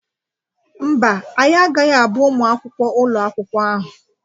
Mba, anyị agaghị abụ ụmụ akwụkwọ ụlọ akwụkwọ a.